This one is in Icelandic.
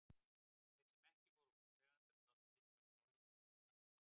Þeir sem ekki voru húseigendur gátu litið á málið með meiri aðdáun.